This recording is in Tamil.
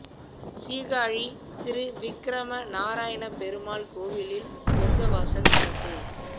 சீர்காழி திரு விக்ரம நாராயண பெருமாள் கோயிலில் சொர்க்க வாசல் திறப்பு